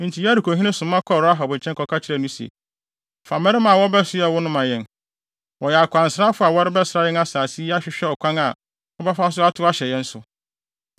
Enti Yerikohene soma kɔɔ Rahab nkyɛn kɔka kyerɛɛ no se, “Fa mmarima a wɔabɛsoɛ wo no ma yɛn. Wɔyɛ akwansrafo a wɔrebɛsra yɛn asase yi ahwehwɛ ɔkwan a wɔbɛfa so atow ahyɛ yɛn so.”